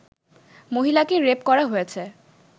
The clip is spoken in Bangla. মহিলাকে রেপ করা হয়েছে